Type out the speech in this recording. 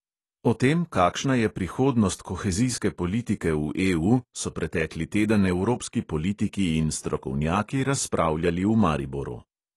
O tem, kakšna je prihodnost kohezijske politike v EU, so pretekli teden evropski politiki in strokovnjaki razpravljali v mariboru.